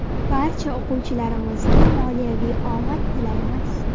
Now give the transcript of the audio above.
Barcha o‘quvchilarimizga moliyaviy omad tilaymiz.